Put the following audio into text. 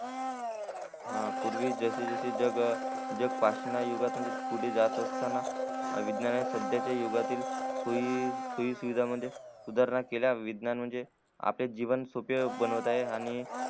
हा पूर्वी जशे जशे पटवणा युगातून पुढे जात असते असताना विज्ञाने सध्या च्या युगा तिल सोई सुविधा मधनं सुधारणा केल्या म्हणजे आपले जीवन सोपे बनवत आहे आणि